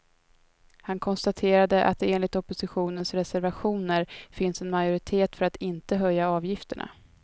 Han konstaterade att det enligt oppositionens reservationer finns en majoritet för att inte höja avgifterna.